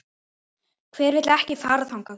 Hver vill ekki fara þangað?